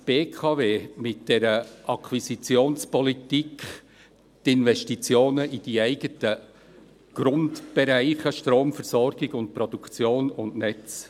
Vernachlässigt die BKW mit der Akquisitionspolitik die Investitionen in den eigenen Grundbereichen Stromversorgung und -produktion und Netze?